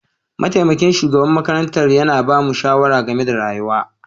Mataimakin shugaban makarantar yana ba mu shawara game da rayuwa.